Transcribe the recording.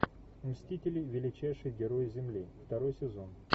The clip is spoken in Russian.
мстители величайшие герои земли второй сезон